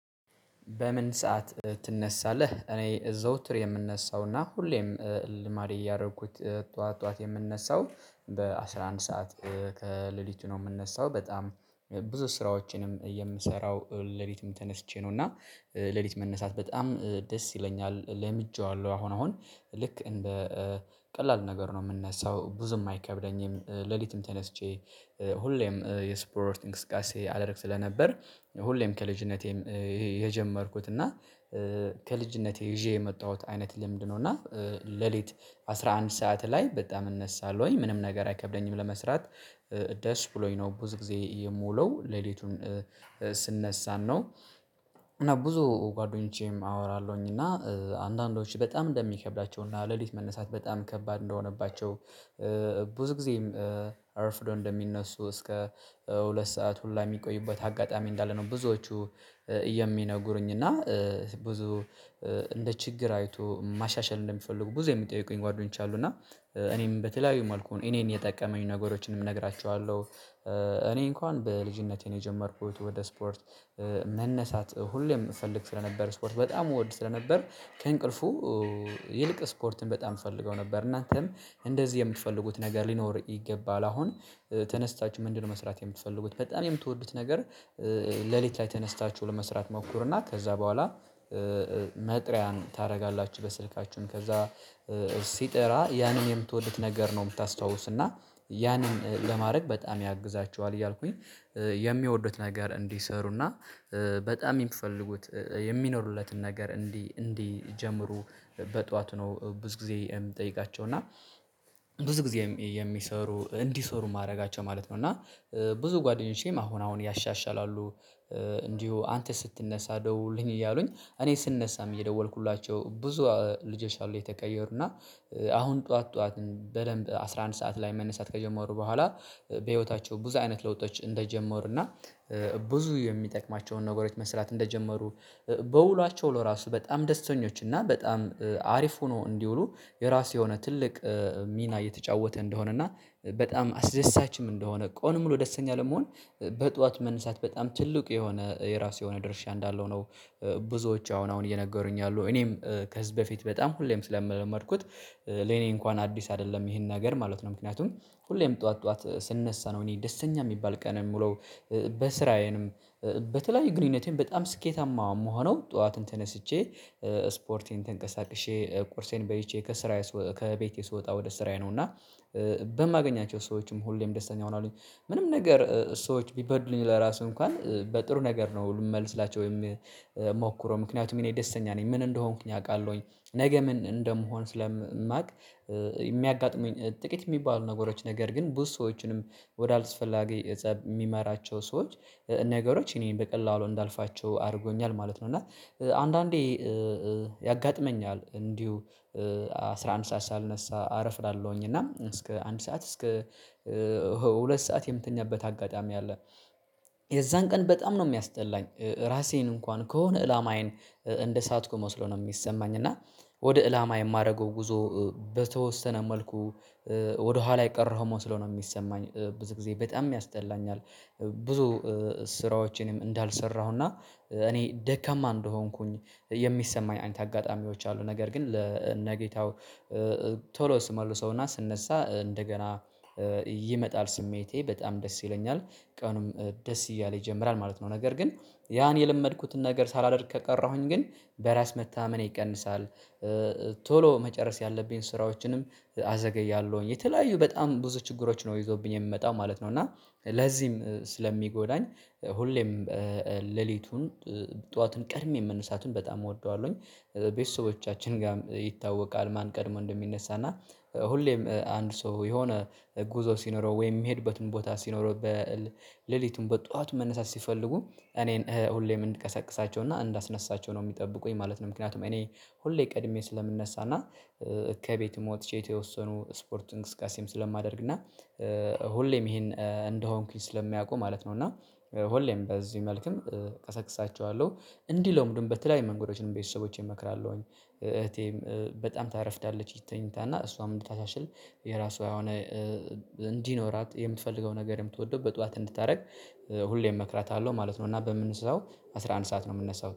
በምን ሰዓት ትነሳለህ? እኔ ዘውትር የምነሳውና ሁሌም ልማዴ እያደረኩት ጠዋት ጠዋት የምነሳው በአሥራ አንድ ሰዓት ከሌሊቱ ነው የምነሳው። በጣም ብዙ ስራዎቼንም የምሰራው ሌሊትም ተነስቼ ነው እና ሌሊት መነሳት በጣም ደስ ይለኛል ለምጄዋለሁ። አሁን አሁን ልክ እንደ ቀላል ነገር ነው የምነሳው ብዙም አይከብደኝም። ሌሊትም ተነስቼ ሁሌም የስፖርት እንቅስቃሴ አደረግ ስለነበር፤ ሁሌም ከልጅነቴም ይሄ የጀመርኩት እና ከልጅነቴ ይዤ የመጣሁት አይነት ልምድ ነው እና ሌሊት አስራ አንድ ሰዓት ላይ በጣም እነሳለሁኝ። ምንም ነገር አይከብደኝም ለመስራት። ደስ ብሎኝ ነው ብዙ ጊዜ የምውለው። ሌሊቱን ስነሳም ነው። እና ብዙ ጓደኞቼንም አወራለሁኝ እና አንዳንዶች በጣም እንደሚከብዳቸው እና ሌሊት መነሳት በጣም ከባድ እንደሆነባቸው ብዙ ጊዜም አርፍደው እንደሚነሱ እስከ ሁለት ሰዓት ሁላ የሚቆዩበት አጋጣሚ እንዳለ ነው ብዙዎቹ የሚነግሩኝ። እና ብዙ እንደ ችግር አይተው ማሻሻል እንደሚፈልጉ ብዙ የሚጠይቁኝ ጓደኞች አሉ እና እኔም በተለያዩ መልኩ እኔን የጠቀመኝ ነገሮችንም እነግራቸዋለሁ፤ እኔ እንኳን በልጅነቴ ነው የጀመርኩት። ወደ ስፖርት መነሳት ሁሌም እፈልግ ስለነበር ስፖርት በጣም እወድ ስለነበር ከእንቅልፉ ይልቅ ስፖርትን በጣም እፈልገው ነበር። እናንተም እንደዚህ የምትፈልጉት ነገር ሊኖር ይገባል። አሁን ተነስታችሁ ምንድነው መስራት የምትፈልጉት? በጣም የምትወዱት ነገር ሌሊት ላይ ተነስታችሁ ለመስራት ሞክሩና ከዛ በኋላ መጥሪያን ታደርጋላችሁ በስልካችሁም ከዛ ሲጠራ ያንን የምትወዱት ነገር ነው የምታስታውሱና ያንን ለማድረግ በጣም ያግዛችኋል እያልኩኝ የሚወዱት ነገር እንዲሰሩና በጣም የሚፈልጉት የሚኖሩለትን ነገር እንዲ እንዲጀምሩ በጧት ነው ብዙ ጊዜ የምጠይቃቸው። እና ብዙ ጊዜ የሚሰሩ እንዲሰሩ ማድረጋቸው ማለት ነው። እና ብዙ ጓደኞቼም አሁን አሁን ያሻሽላሉ እንዲሁ አንተ ስትነሳ ደውልኝ እያሉኝ እኔ ስነሳም እየደወልኩላቸው ብዙ ልጆች አሉ የተቀየሩና፤ አሁን ጠዋት ጠዋት በደንብ አስራ አንድ ሰዓት ላይ መነሳት ከጀመሩ በኋላ፤ በህይወታቸው ብዙ አይነት ለውጦች እንደጀመሩና ብዙ የሚጠቅማቸውን ነገሮች መስራት እንደጀመሩ በውሏቸው ለራሱ በጣም ደስተኞች እና በጣም አሪፍ ሆኖ እንዲውሉ የራሱ የሆነ ትልቅ ሚና እየተጫወተ እንደሆነ እና በጣም አስደሳችም እንደሆነ፤ ቀኑን ሙሉ ደስተኛ ለመሆን በጧት መነሳት በጣም ትልቅ የሆነ የራሱ የሆነ ድርሻ እንዳለው ነው ብዙዎች አሁን አሁን እየነገሩኝ ያሉ እኔም ከዚ በፊት በጣም ሁሌም ስለለመድኩት፤ ለኔ እንኳን አዲስ አይደለም ይሄን ነገር ማለት ነው። ምክንያቱም ሁሌም ጠዋት ጠዋት ስንነሳ ነው እኔ ደስተኛ የሚባል ቀን የምለው። በስራዬንም በተለያዩ ግንኙነቴም በጣም ስኬታማ የምሆነው ጠዋትን ተነስቼ ስፖርቴን ተንቀሳቅሼ፣ ቁርሴን በልቼ ከስራዬ ከቤቴ ስወጣ ወደ ስራዬ ነው እና በማገኛቸው ሰዎችም ሁሌም ደስተኛ እሆናለሁኝ። ምንም ነገር ሰዎች ቢበድሉኝ ለራሱ እንኳን በጥሩ ነገር ነው ልመልስላቸው የምሞክረው። ምክንያቱም እኔ ደስተኛ ነኝ ምን እንደሆንኩኝ አውቃለሁኝ። ነገ ምን እንደመሆን ስለማውቅ፤ የሚያጋጥሙኝ ጥቂት የሚባሉ ነገሮች ነገር ግን ብዙ ሰዎችንም ወደ አልስፈላጊ ፀብ የሚመራቸው ሰዎች፤ ነገሮች እኔን በቀላሉ እንዳልፋቸው አድርጎኛል ማለት ነው። እና አንዳንዴ ያጋጥመኛል እንዲሁ አስራ አንድ ሰዓት ሳልነሳ አረፍዳለሁኝ እና እስከ አንድ ሰዓት እስከ ሁለት ሰዓት የምትኛበት አጋጣሚ አለ። የዛን ቀን በጣም ነው የሚያስጠላኝ ራሴን እንኳን ከሆነ አላማዬን እንደሳትኩ መስሎ ነው የሚሰማኝ። እና ወደ ኢላማ የማደርገው ጉዞ በተወሰነ መልኩ ወደኋላ የቀረሁ መስሎ ነው የሚሰማኝ ብዙ ጊዜ በጣም ያስጠላኛል። ብዙ ስራዎቼንም እንዳልሰራሁና እኔ ደካማ እንደሆንኩኝ የሚሰማኝ አይነት አጋጣሚዎች አሉ። ነገር ግን ለነ ጌታው ቶሎ ስመልሰውና ስነሳ እንደገና ይመጣል ስሜቴ በጣም ደስ ይለኛል ቀኑም ደስ እያለ ይጀምራል ማለት ነው። ነገር ግን ያን የለመድኩትን ነገር ሳላደርግ ከቀረሁኝ ግን በራስ መታማመኔ ይቀንሳል፤ ቶሎ መጨረስ ያለብኝን ስራዎችንም አዘገያለሁኝ። የተለያዩ በጣም ብዙ ችግሮች ነው ይዞብኝ የሚመጣው ማለት ነው። እና ለዚህም ስለሚጎዳኝ ሁሌም ሌሊቱን ጠዋትን ቀድሜ መነሳቱን በጣም እወደዋለሁኝ። ቤተሰቦቻችን ጋር ይታወቃል ማን ቀድሞ እንደሚነሳ እና ሁሌም አንድ ሰው የሆነ ጉዞ ሲኖረው ወይም የሚሄድበትም ቦታ ሲኖረው፤ ሌሊቱን በጧቱ መነሳት ሲፈልጉ እኔን ሁሌም እንድቀሰቅሳቸውና እንዳስነሳቸው ነው የሚጠብቁኝ ማለት ነው። ምክንያቱም እኔ ሁሌ ቀድሜ ስለምነሳና ከቤትም ወጥቼ የተወሰኑ ስፖርት እንቅስቃሴም ስለማደርግና ሁሌም ይሄን እንደሆንኩኝ ስለሚያውቁ ማለት ነው እና ሁሌም በዚህ መልክም እቀሰቅሳቸዋለሁ። እንዲለምዱም በተለያዩ መንገዶችን ቤተሰቦቼን እመክራለሁኝ። እህቴም በጣም ታረፍዳለች ተኝታ እና እሷም እንድታሻሽል የራሷ የሆነ እንዲኖራት የምትፈልገው ነገር የምትወደው በጧት እንድታደርግ ሁሌም እመክራታለሁ ማለት ነው። እና በምነሳው አስራ አንድ ሰዓት ነው የምነሳው።